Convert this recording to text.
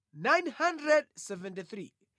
Zidzukulu za Imeri 1,052